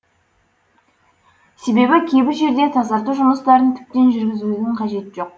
себебі кейбір жерде тазарту жұмыстарын тіптен жүргізудің қажеті жоқ